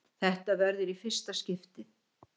Þetta verður í fyrsta skiptið!!